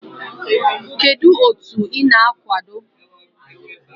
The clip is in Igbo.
Kedu otu ị na-akwado?